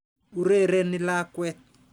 Urereni lakwet.